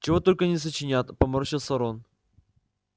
чего только не сочинят поморщился рон